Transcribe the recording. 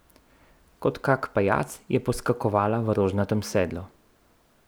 Kot kak pajac je poskakovala v rožnatem sedlu.